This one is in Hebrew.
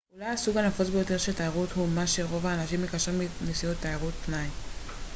אולי הסוג הנפוץ ביותר של תיירות הוא מה שרוב האנשים מקשרים עם נסיעות תיירות פנאי